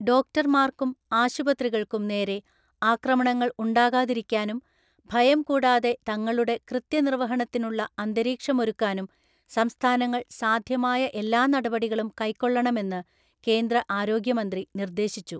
ഡോക്ടര്‍മാര്‍ക്കും, ആശുപത്രികള്‍ക്കും നേരെ ആക്രമണങ്ങള്‍ ഉണ്ടാകാതിരിക്കാനും, ഭയം കൂടാതെ തങ്ങളുടെ കൃത്യനിർവ്വഹണത്തിനുള്ള അന്തരീക്ഷമൊരുക്കാനും സംസ്ഥാനങ്ങള്‍ സാധ്യമായ എല്ലാ നടപടികളും കൈക്കൊള്ളണമെന്ന് കേന്ദ്ര ആരോഗ്യമന്ത്രി നിര്‍ദ്ദേശിച്ചു..